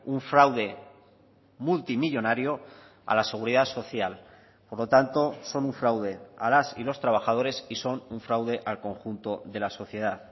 un fraude multimillónario a la seguridad social por lo tanto son un fraude a las y los trabajadores y son un fraude al conjunto de la sociedad